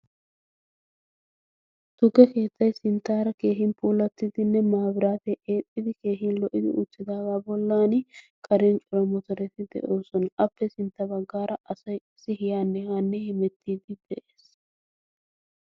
tukke keettai sinttaara keehin puulattiddinne maabiraate eexxidi keehin lo77idi uttidaagaa bollan karen cora motoreti de7oosona. appe sintta baggaara asai qassi yaanne haanne himettiiddi de7ees.